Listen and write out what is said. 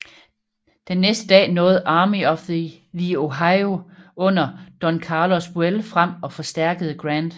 Den næste dag nåede Army of the Ohio under Don Carlos Buell frem og forstærkede Grant